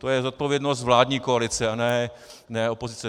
To je zodpovědnost vládní koalice, a ne opozice.